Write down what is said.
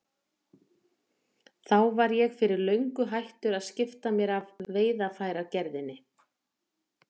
Þá var ég fyrir löngu hættur að skipta mér af veiðarfæragerðinni.